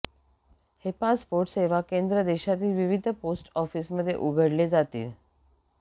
हे पासपोर्ट सेवा केंद्र देशातील विविध पोस्ट ऑफीसमध्ये उघडले जातील